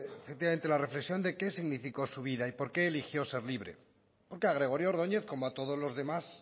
efectivamente la reflexión de qué significó su vida y por qué eligió ser libre porque a gregorio ordoñez como a todos los demás